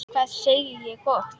Hvað segi ég gott?